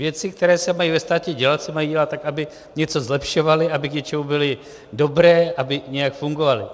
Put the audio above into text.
Věci, které se mají ve státě dělat, se mají dělat tak, aby něco zlepšovaly, aby k něčemu byly dobré, aby nějak fungovaly.